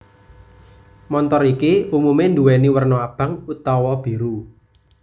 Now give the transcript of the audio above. Montor iki umume nduweni werna abang utawa biru